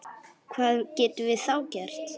Hvað getum við þá gert?